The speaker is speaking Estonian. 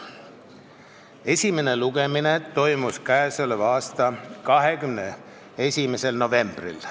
Esimene lugemine toimus k.a 21. novembril.